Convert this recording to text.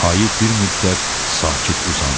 Ayı bir müddət sakit uzandı.